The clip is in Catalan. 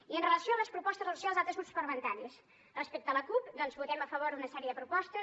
i amb relació a les propostes de resolució dels altres grups parlamentaris respecte a la cup doncs votem a favor d’una sèrie de propostes